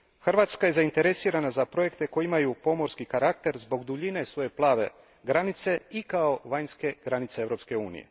Hrvatska je zainteresirana za projekte koji imaju pomorski karakter zbog duljine svoje plave granice i kao vanjske granice EU.